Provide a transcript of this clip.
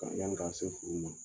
A bɛ yɛrɛ